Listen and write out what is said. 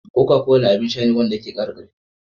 Coca-cola abin Sha ne wa na ya ke kara karfi